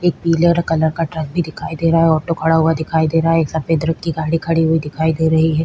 एक पीले कलर का ट्रक भी दिखाई दे रही है ऑटो खड़ा हुआ दिखाई दे रहा है एक सफेद रंग की गाड़ी खड़ी दिखाई दे रही है।